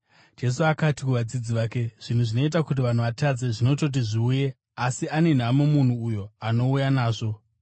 Jesu akati kuvadzidzi vake, “Zvinhu zvinoita kuti vanhu vatadze zvinototi zviuye, asi ane nhamo munhu uyo anouya nazvo.